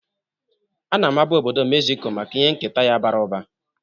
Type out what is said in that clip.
Ana-amabu obodo Mexico maka ihe nketa ya bara ụba.